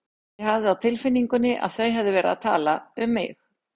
Ég hafði á tilfinningunni að þau hefðu verið að tala um mig.